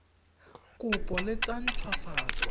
kopo le tsa nt hwafatso